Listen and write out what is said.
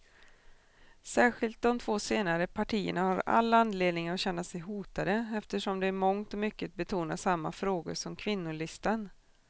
Särskilt de två senare partierna har all anledning att känna sig hotade, eftersom de i mångt och mycket betonar samma frågor som kvinnolistan.